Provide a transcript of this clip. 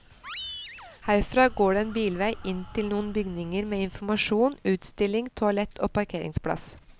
Herfra går det en bilvei inn til noen bygninger med informasjon, utstilling, toalett og parkeringsplass.